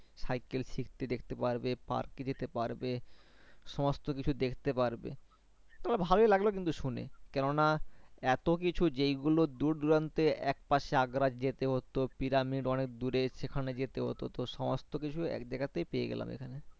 পশে Agra যেতে হত Pyramid অনেক দূরে সেখানে যেতে হত তো সমস্তহ কিছু এক জায়গা তাই পেয়ে গেলাম এখানে